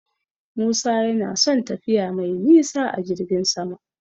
Musa yana son tafiya mai nisa a jirgin sama.